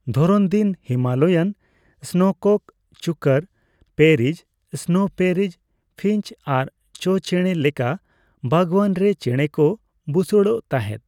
ᱫᱷᱚᱨᱚᱱ ᱫᱤᱱ, Himalayan snowcock, chukar partridge, snow partridge, finch ᱟᱨ ᱪᱳ ᱪᱮᱸᱬᱮ ᱞᱮᱠᱟ ᱵᱟᱜᱽᱣᱟᱱ ᱨᱮ ᱪᱮᱸᱬᱮ ᱠᱚ ᱵᱩᱥᱟᱹᱲᱚᱜ ᱛᱟᱦᱮᱸᱫ ᱾